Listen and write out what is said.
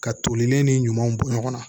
Ka tolilen ni ɲumanw bɔ ɲɔgɔn na